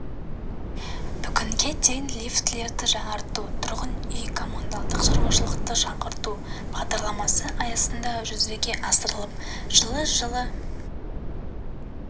бүгінге дейін лифтілерді жаңарту тұрғын үй коммуналдық шаруашылықты жаңғырту бағдарламасы аясында жүзеге асырылып жылы жылы жылы